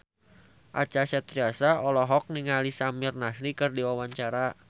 Acha Septriasa olohok ningali Samir Nasri keur diwawancara